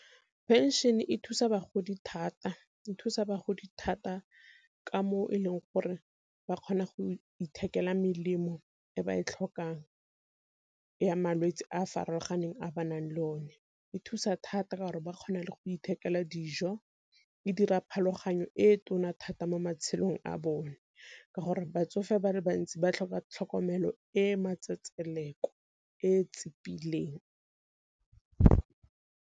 Pension e thusa bagodi thata, e thusa bagodi thata ka mo e leng gore ba kgona go ithekela melemo e ba e tlhokang ya malwetse a a farologaneng a ba nang le o ne, e thusa thata ka gore ba kgona le go ithekela dijo. E dira pharologano e tona thata mo matshelong a bone, ka gore batsofe ba le bantsi ba tlhoka tlhokomelo e e matsetseleko e tsipileng.